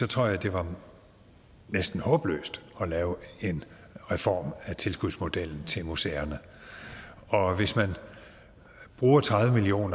tror jeg det var næsten håbløst at lave en reform af tilskudsmodellen til museerne og hvis man bruger tredive million